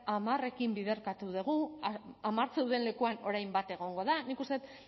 hamarrekin biderkatu dugu hamar zeuden lekuan orain bat egongo da nik uste dut